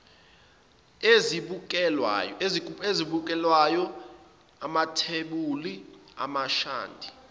ezibukelwayo amathebuli amashadi